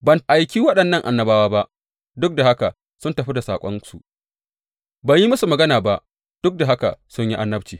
Ban aiki waɗannan annabawa ba, duk da haka sun tafi da saƙonsu; ban yi musu magana ba, duk da haka sun yi annabci.